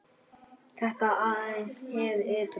Þetta var aðeins hið ytra.